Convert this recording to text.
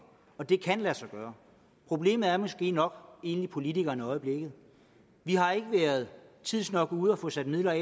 det kan lade sig gøre problemet er måske nok politikerne i øjeblikket vi har ikke været tidsnok ude at få sat midler af